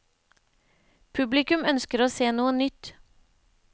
Publikum ønsker å se noe nytt.